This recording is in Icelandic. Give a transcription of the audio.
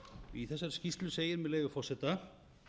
í þessari skýrslu segir með leyfi forseta